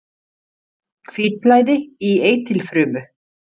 Hvítblæði í eitilfrumu.